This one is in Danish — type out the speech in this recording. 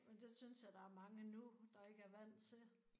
Men det synes jeg der er mange nu der ikke er vant til